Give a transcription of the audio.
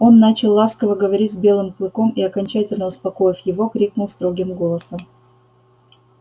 он начал ласково говорить с белым клыком и окончательно успокоив его крикнул строгим голосом